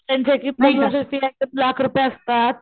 त्यांचीएक एक लाख रुपये असतात,